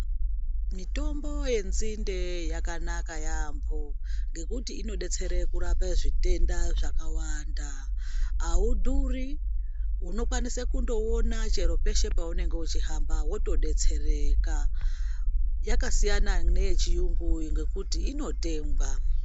Mitombo yensinde yakanaka yambo ngekuti inobetsere kurape zvitenda zvakawanda . Haudhuri undokwanise kundowona chero peshe paunenge uchihamba wotodetsereka. Yakasiyana neyechiungu nekuti inotengwa.